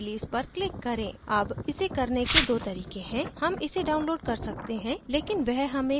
अब इसे करने के दो तरीके हैं हम इसे download कर सकते हैं लेकिन वह हमें हमारे desktop पर बहुत we अनावश्यक files देगा